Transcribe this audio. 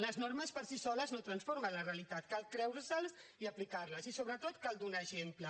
les normes per si soles no transformen la realitat cal creure se les i aplicar les i sobretot cal donar exemple